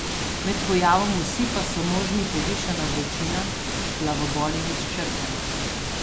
Med pojavom osipa so možni povišana vročina, glavobol in izčrpanost.